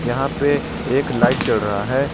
यहां पे एक लाइट जल रहा है।